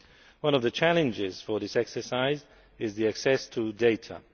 One of the challenges for this exercise is the access to data.